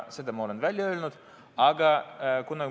Seda ma olen välja öelnud.